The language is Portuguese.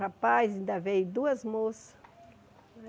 Rapaz, ainda veio duas moças.